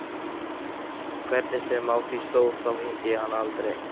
Hvernig sem á því stóð, þá hitti ég hana aldrei